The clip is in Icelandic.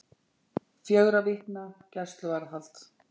Fjögurra vikna gæsluvarðhald